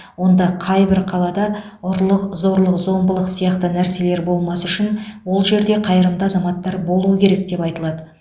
онда қайбір қалада ұрлық зорлық зомбылық сияқты нәрселер болмас үшін ол жерде қайырымды азаматтар болуы керек деп айтылады